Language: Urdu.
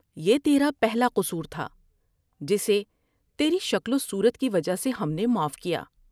یہ تیرا پہلا قصور تھا جسے تیری شکل وصورت کی وجہ سے ہم نے معاف کیا ۔